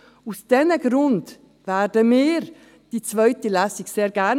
Aus diesen Gründen werden wir gerne eine zweite Lesung durchführen.